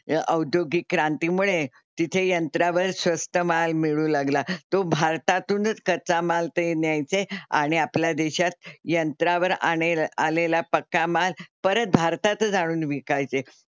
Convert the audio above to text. औद्योगिक क्रांती मुळे तिथे यंत्रावर स्वस्त माल मिळू लागला. तो भारतातूनच कच्चा माल ते न्यायचे आणि आपल्या देशात यंत्रावर आणि आलेला पक्का माल परत भारतातच आणून विकायचे.